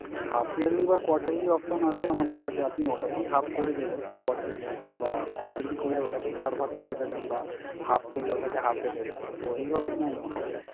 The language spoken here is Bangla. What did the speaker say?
Half yearly বা quarterly option আছে আমাদের কাছে। আপনি ওটাকেই half করে দেবেন quarterly বা quarterly করলে ওটাকেই চার ভাগ করে দেবেন বা half করলে ওটাকে half এ দেবেন। তো এইভাবেই mam হবে।